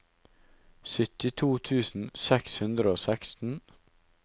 syttito tusen seks hundre og seksten